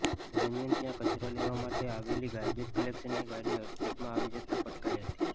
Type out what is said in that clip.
દરમિયાન ત્યાં કચરો લેવા માટે આવેલી ગાર્બેજ કલેક્શનની ગાડીની અડફેટમાં આવી જતાં પટકાઈ હતી